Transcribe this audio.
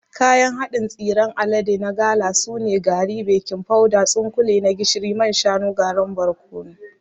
Kayan haɗin tsiran alade na gala sune: gari, baking powder, tsunkule na gishiri, man shanu, garin barkono.